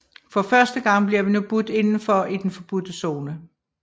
For første gang bliver vi nu budt indenfor i den forbudte zone